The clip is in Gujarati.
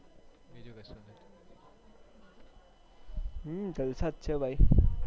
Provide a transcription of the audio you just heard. હમ્મ જ્લ્સાજ છે ભાઈ